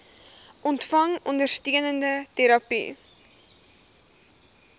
ontvang ondersteunende terapie